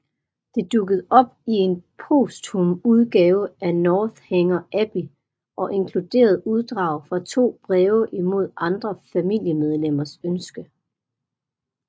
Det dukkede op i en posthum udgave af Northanger Abbey og inkluderede uddrag fra to breve imod andre familiemedlemmers ønsker